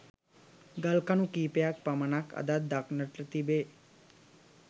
ගල් කණු කීපයක් පමණක් අදත් දක්නට තිබේ.